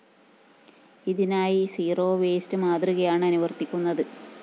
ഇതിനായി zero waste മാതൃകയാണ് അനുവര്‍ത്തിക്കുന്നത്